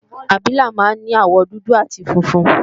Abilà máa ń ní àwọ̀ dúdú àti funfun